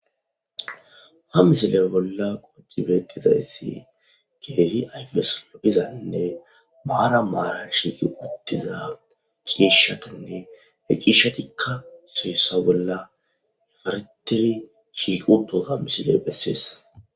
Ha misile bolla betizaysi Keehi ayfesi lo'izanne marani marani shiiqi utida ciishatune he ciishatika ciisha bolla haretidi shiiqi utoga misiley beses.